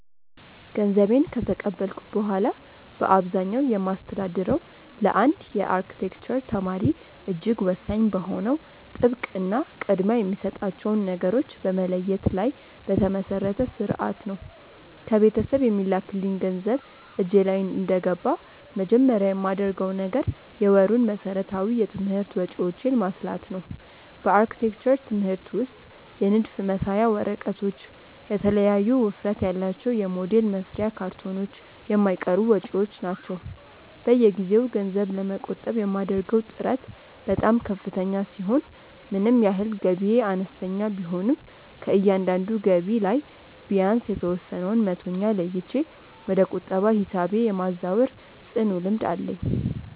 ገንዘቤን ከተቀበልኩ በኋላ በአብዛኛው የማስተዳድረው ለአንድ የአርክቴክቸር ተማሪ እጅግ ወሳኝ በሆነው ጥብቅ እና ቅድሚያ የሚሰጣቸውን ነገሮች በመለየት ላይ በተመሰረተ ሥርዓት ነው። ከቤተሰብ የሚላክልኝ ገንዘብ እጄ ላይ እንደገባ መጀመሪያ የማደርገው ነገር የወሩን መሠረታዊ የትምህርት ወጪዎቼን ማስላት ነው። በአርክቴክቸር ትምህርት ውስጥ የንድፍ መሳያ ወረቀቶች፣ የተለያዩ ውፍረት ያላቸው የሞዴል መስሪያ ካርቶኖች የማይቀሩ ወጪዎች ናቸው። በየጊዜው ገንዘብ ለመቆጠብ የማደርገው ጥረት በጣም ከፍተኛ ሲሆን ምንም ያህል ገቢዬ አነስተኛ ቢሆንም ከእያንዳንዱ ገቢ ላይ ቢያንስ የተወሰነውን መቶኛ ለይቼ ወደ ቁጠባ ሂሳቤ የማዛወር ጽኑ ልምድ አለኝ።